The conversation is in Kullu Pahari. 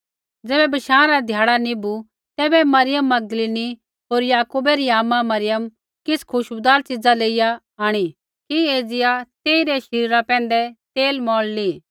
ज़ैबै बशाँ रा ध्याड़ा निभु तैबै मरियम मगदलीनी होर याकूबा री आमा मरियम होर सलोमीऐ किछ़ खुशबूदार च़ीज़ा लेइया आंणी कि एज़िया तेइरै शरीरा पैंधै तेल मौल़ली